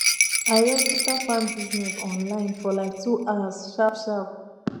i register farm business online for like 2 hours sharpsharp